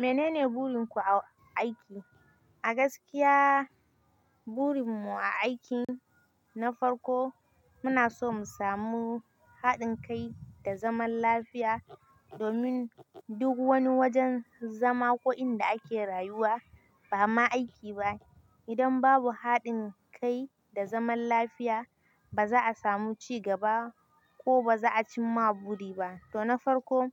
"Mene ne burin ku a aiki?" A gaskiya, burin mu a aikin na farko muna so mu samu haɗin kai da zaman lafiya domin duk wani wajen zama ko inda ake rayuwa ba ma aiki ba. Idan babu haɗin kai da zaman lafiya, ba za a samu ci gaba ba ko ba za a cimma buri ba. To na farko